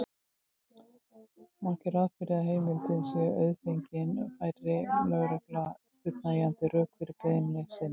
Má gera ráð fyrir að heimildin sé auðfengin færi lögregla fullnægjandi rök fyrir beiðni sinni.